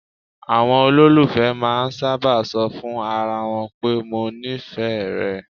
Àwọn olólùfẹ́ máà ń sábà ṣọ fún ara wọn pé "mo nífẹ̀ẹ́ rẹ".